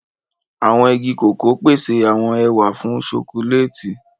Awọn ìgi koko pese awọn ẹwà fún chọcòlati.